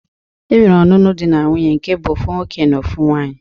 E nwere ọnụnụ di na nwuńye nke bụ ofu nwoke na ofu nwaanyi.